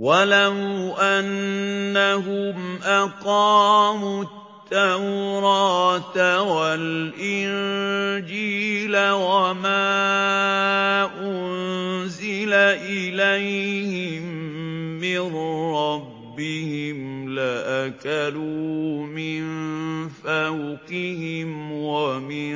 وَلَوْ أَنَّهُمْ أَقَامُوا التَّوْرَاةَ وَالْإِنجِيلَ وَمَا أُنزِلَ إِلَيْهِم مِّن رَّبِّهِمْ لَأَكَلُوا مِن فَوْقِهِمْ وَمِن